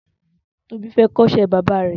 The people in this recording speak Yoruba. Tobi fẹ̀ kọ̀ iṣẹ bàbà